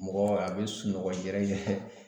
Mɔgɔ a bɛ sunɔgɔ yɛrɛ